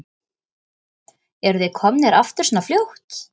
Eruð þið komnir aftur svona fljótt?